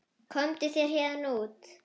Komdu þér héðan út.